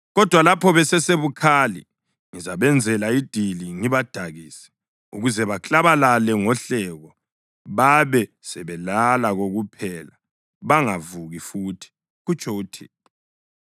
Kodwa lapho besesebukhali, ngizabenzela idili ngibadakise, ukuze baklabalale ngohleko, babe sebelala kokuphela bangavuki futhi,” kutsho uThixo.